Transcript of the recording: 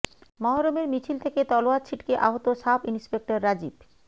মহরমের মিছিল থেকে তলোয়ার ছিটকে আহত সাব ইন্সপেক্টর রাজীব